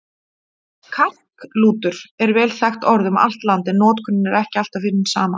Karklútur er vel þekkt orð um allt land, en notkunin er ekki alltaf hin sama.